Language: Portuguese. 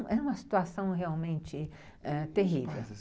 Era uma situação realmente ãh terrível.